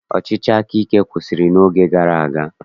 Ọchịchị akaike kwụsịrị n'oge gara aga